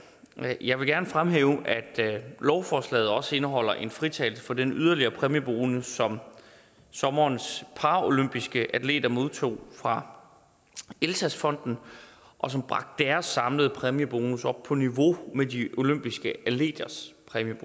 jeg vil gerne fremhæve at lovforslaget også indeholder en fritagelse for den yderligere præmiebonus som sommerens paralympiske atleter modtog fra elsass fonden og som bragte deres samlede præmiebonus op på niveau med de olympiske atleters